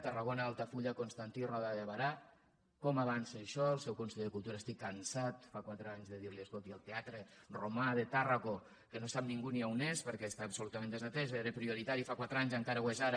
tarragona altafulla constantí roda de berà com avança això el seu consell de cultura estic cansat fa quatre anys de dir li escolti el teatre romà de tàrraco que no sap ningú ni on és perquè està absolutament desatès era prioritari fa quatre anys encara ho és ara